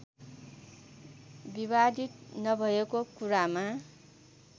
विवादित नभएको कुरामा